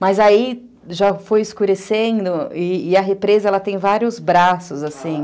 Mas aí já foi escurecendo e a represa tem vários braços, assim.